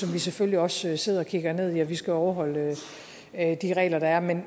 vi selvfølgelig også sidder og kigger ned i for vi skal overholde de regler der er men